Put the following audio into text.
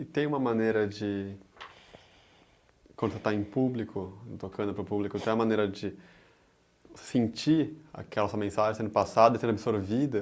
E tem uma maneira de... quando você está em público, tocando para o público, tem uma maneira de sentir aquela mensagem sendo passada, e sendo absorvida?